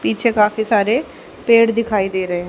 पीछे काफी सारे पेड़ दिखाई दे रहे--